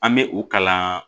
An bɛ o kalan